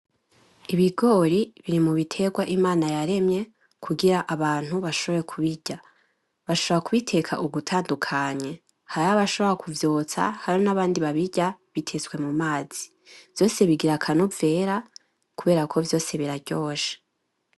Ibigori biri mu bitegwa Imana yaremye kugira abantu bashobore kubirya. Bashobora kubiteka uburyo butandukanye; hariho abashobora kuvyotsa, hariho n'abandi babirya bitetse mu mazi. Vyose bigira akanovera kubera ko vyose biraryoshe.